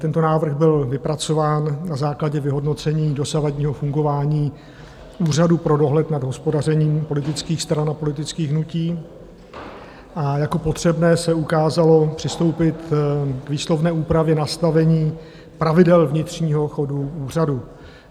Tento návrh byl vypracován na základě vyhodnocení dosavadního fungování Úřadu pro dohled nad hospodařením politických stran a politických hnutí a jako potřebné se ukázalo přistoupit k výslovné úpravě nastavení pravidel vnitřního chodu úřadu.